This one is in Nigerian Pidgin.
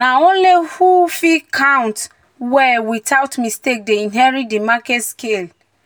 "na only who fit count um well without um mistake dey inherit di market scale."